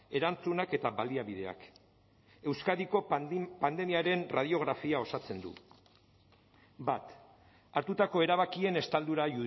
erantzunak eta baliabideak euskadiko pandemiaren erradiografia osatzen du bat hartutako erabakien estaldura